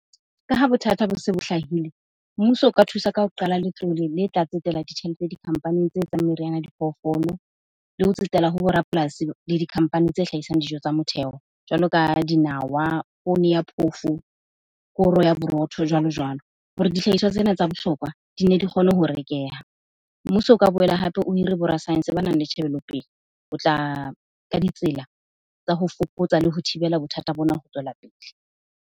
Ka ha bothata bo se bo hlahile, mmuso o ka thusa ka ho qala letlole le tla tsetela ditjhelete di-company-ing tse etsang meriana ya diphoofolo le ho tsetela ho bo rapolasi le di-company tse hlahisang dijo tsa motheo. Jwalo ka dinawa, poone ya phofo, koro ya borotho jwalo-jwalo hore dihlahiswa tsena tsa bohlokwa dine di kgone ho rekeha. Mmuso o ka boela hape o hire bo rasaense ba nang le tjhebelopele ho tla ka ditsela tsa ho fokotsa le ho thibela bothata bona ho tswela pele.